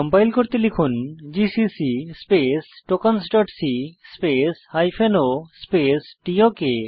compile করতে লিখুন GCC space tokensসি স্পেস o স্পেস টক